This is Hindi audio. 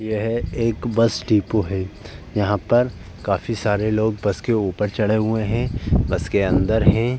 यह एक बस डीपो है। यहाँ पर काफी सारे लोग बस के ऊपर चड़े हुए हैं। बस के अंदर हैं।